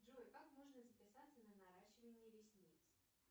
джой как можно записаться на наращивание ресниц